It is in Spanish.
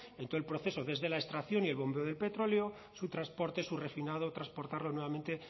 en todo el proceso desde la extracción y el bombeo del petróleo su transporte su refinado transportarlo nuevamente